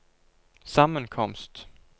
sammenkomst